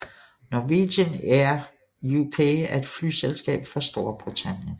Norwegian Air UK er et flyselskab fra Storbritannien